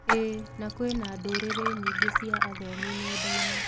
ĩĩ, na kwĩna ndũrĩrĩ nyingĩ cia athomi nenda-inĩ.